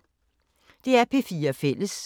DR P4 Fælles